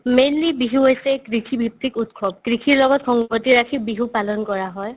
mainly Bihu হৈছে কৃষি ভিত্তিক উৎসৱ কৃষিৰ লগত সংগতি ৰাখি বিহু পালন কৰা হয়